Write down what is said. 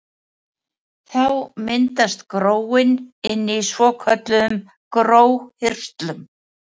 Þá myndast gróin inni í svokölluðum gróhirslum.